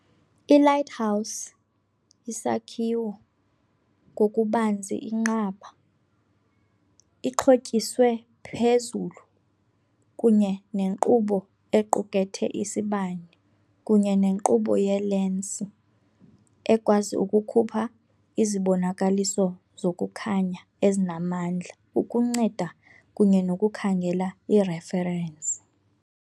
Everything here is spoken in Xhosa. I-lighthouse yisakhiwo, ngokubanzi inqaba, ixhotyiswe phezulu kunye nenkqubo, equkethe isibane kunye nenkqubo yeelensi, ekwazi ukukhupha izibonakaliso zokukhanya ezinamandla ukunceda kunye nokukhangela ireferensi.